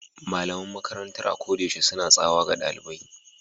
The school teachers are always shouting at students